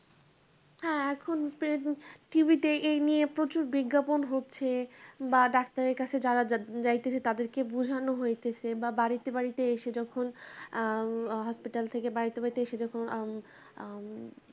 হ্যাঁ এখন প্রায় t. v. তে এই নিয়ে প্রচুর বিজ্ঞাপন হচ্ছে বা ডাক্তারের কাছে যাওয়া যাইতেছে তাদেরকে বুঝানো হইতেছে বা বাড়িতে বাড়িতে এসে যখন আম hospital থেকে বাড়িতে বাড়িতে এসে যখন আম আম